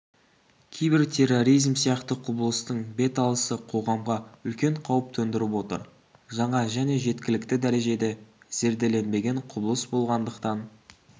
кибертерроризм сияқты құбылыстың беталысы қоғамға үлкен қауіп төндіріп отыр жаңа және жеткілікті дәрежеде зерделенбеген құбылыс болғандықтан